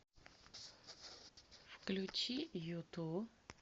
включи юту